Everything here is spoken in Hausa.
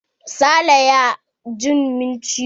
Sale ya jin min ciwo.